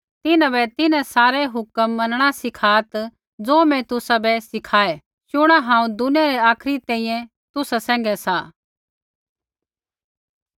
तिन्हां बै तिन्हां सारै हुक्म मनणा सिखात् ज़ो मैं तुसाबै सीखाई शुणा हांऊँ दुनिया रै आखरी तैंईंयैं तुसा सैंघै सा